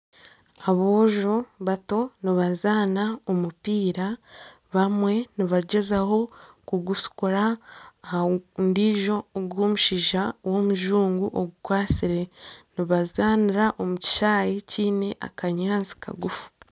Aboojo bato nibazaana omupiira bamwe nibagyezaho kugushukura aha ndiijo omushaija w'omujungu ogukwatsire nibazanira omu kishaayi kiine akanyaatsi kagufu.